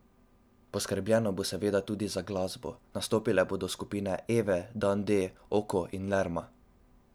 Poskrbljeno bo seveda tudi za glasbo, nastopile dobo skupine Ave, Dan D, Oko in Lerma.